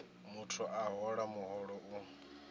muthu a hola muholo u